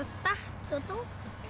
datt og dó